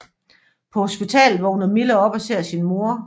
På hospitalet vågner Mille op og ser sin mor